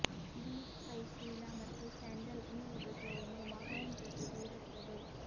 ಬೀಜ್ ಕೈಚೀಲ ಮತ್ತು ಸ್ಯಾಂಡಲ್ ಈ ಉಡುಗೆ ಒಂದು ಮಹಾನ್ ಜೊತೆಗೆ ಇರುತ್ತದೆ